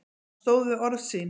Hann stóð við orð sín.